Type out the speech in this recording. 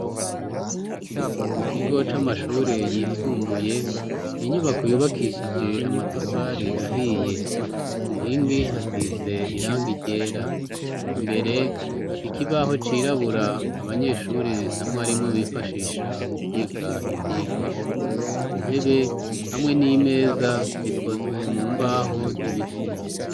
Mu kigo c'amashure yisumbuye n'inyubako yubakishije amatafari ahiye ku nkingi hasize iranga ryera imbere ikibaho cirabura abanyeshure namwarimu bifashisha mu kwiga ivyigwa intebe hamwe n'imeza zikozwe mu mbaho z'ibiti.